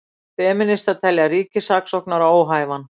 Femínistar telja ríkissaksóknara óhæfan